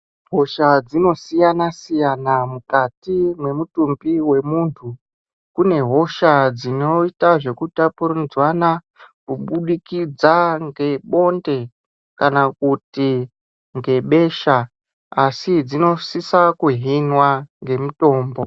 Hosha dzinosiyana siyana mwukati mwemutumbi wemuntu. Kune hosha dzinoita zvekutapurirwana kubudikidza ngebonde kana kuti ngebesha asi dzinosisa kuhinwa ngemitombo.